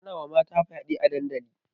Ana wa mata fyaɗe a dandali